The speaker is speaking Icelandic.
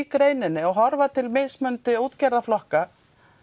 greininni og horfa til mismunandi útgerðarflokka